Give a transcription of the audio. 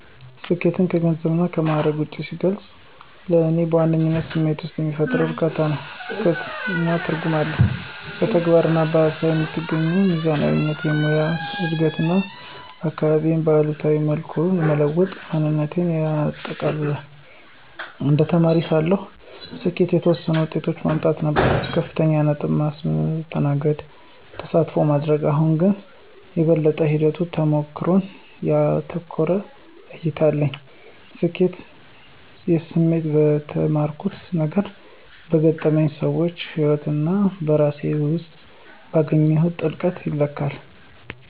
ስኬትን ከገንዘብና ከማዕረግ ውጭ ሲገልጽ፣ ለእኔ በዋነኝነት ስሜት ውስጥ የሚፈጠር እርካታ፣ እድገት እና ትርጉም ነው። በተግባር እና በሃሳብ የምትገኘው ሚዛናዊነት፣ ሙያዊ እድገት እና አካባቢዬን በአዎንታዊ መልኩ መለወጥ ማየቴን ያጠቃልላል። እንደ ተማሪ ሳለሁ፣ ስኬት የተወሰኑ ውጤቶችን ማምጣት ነበር - ከፍተኛ ነጥብ፣ ማስተናገድ፣ ተሳትፎ ማድረግ። አሁን ግን፣ የበለጠ ሂደት-ተሞክሮን ያተኮረ እይታ አለኝ። የስኬት ስሜት በተማርኩት ነገሮች፣ በገጠመኝ ሰዎች ህይወት እና በራሴ ውስጥ ባገኘሁት ጥልቀት ይለካል።